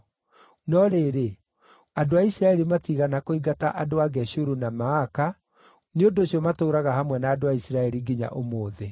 No rĩrĩ, andũ a Isiraeli matiigana kũingata andũ a Geshuru na Maaka; nĩ ũndũ ũcio matũũraga hamwe na andũ a Isiraeli nginya ũmũthĩ.